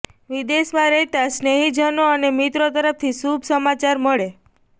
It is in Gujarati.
વિદેશમાં રહેતાં સ્નેહિજનો અને મિત્રો તરફથી શુભ સમાચાર મળે